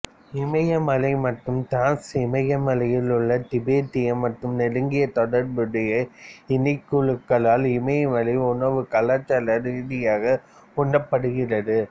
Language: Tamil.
இமயமலை மற்றும் திரான்ஸ்இமயமலையில் உள்ள திபெத்திய மற்றும் நெருங்கிய தொடர்புடைய இனக்குழுக்களால் இமயமலை உணவு கலாச்சார ரீதியாக உண்ணப்படுகிறது